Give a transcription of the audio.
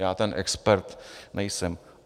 Já ten expert nejsem.